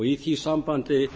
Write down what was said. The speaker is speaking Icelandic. í því sambandi